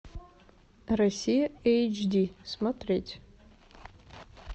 россия эйч ди смотреть